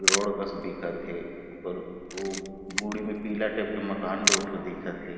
Road बस दिखत हे ऊपर ओ में पीला टाइप के मकान दो ठो दिखत हे ।